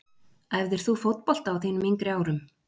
Æfðir þú fótbolta á þínum yngri árum?